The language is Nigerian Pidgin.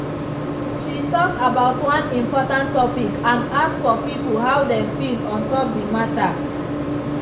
she talk about one important topic and ask for people how dem feel ontop the matter.